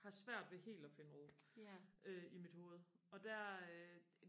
har svært ved helt og finde ro i øh mit hoved og der øh